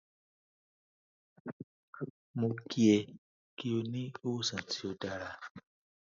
mo ki e ki o ni iwosan ti o dara